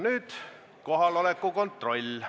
Nüüd teeme kohaloleku kontrolli.